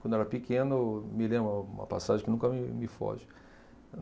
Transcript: Quando eu era pequeno, me lembro um uma passagem que nunca me me foge.